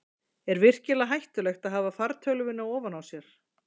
er virkilega hættulegt að hafa fartölvuna ofan á sér